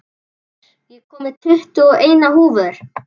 Geir, ég kom með tuttugu og eina húfur!